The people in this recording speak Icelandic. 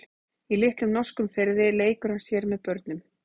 Í litlum norskum firði leikur hann sér með börnum.